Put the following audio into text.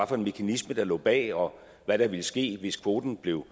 for en mekanisme der lå bag og hvad der ville ske hvis kvoten blev